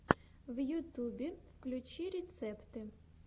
в ютюбе включи рецепты